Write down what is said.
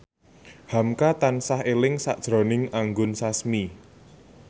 hamka tansah eling sakjroning Anggun Sasmi